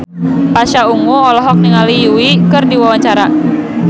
Pasha Ungu olohok ningali Yui keur diwawancara